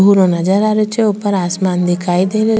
भूरो नजर आ रियो छे ऊपर आसमान दिखाई दे रियो।